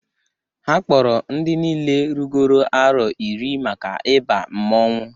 Ha kpọpụtara ndị niine rugoro arọ iri maka ịba mmọnwụ.